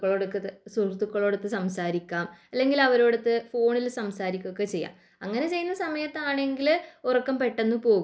സുഹൃത്തുക്കളോടൊത്തു സംസാരിക്കാം അല്ലെങ്കിൽ അവരോടൊത് ഫോണിൽ സംസാരിക്കാം അങ്ങനെ ചെയ്യുന്ന സമയത്താണെങ്കിൽ ഉറക്കം പെട്ടെന്ന് പോകും